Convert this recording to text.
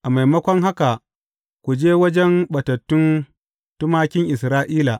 A maimakon haka ku je wajen ɓatattun tumakin Isra’ila.